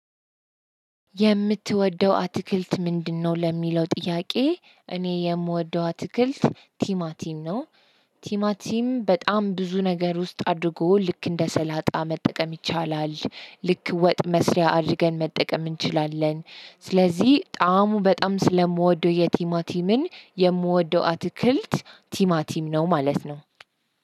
"የምትወደው አትክልት ምንድነው?" ለሚለው ጥያቄ እኔ የምወደው አትክልት ቲማቲም ነው። ቲማቲም በጣም ብዙ ነገር ውስጥ አድርጎ ልክ እንደ ሰላጣ መጠቀም ይቻላል፣ ልክ ወጥ መስሪያ አድርገን መጠቀም እንችላለን፣ ስለዚህ ጣዕሙ በጣም ስለምወደው የቲማቲምን የምወደው አትክልት ቲማቲም ነው ማለት ነው።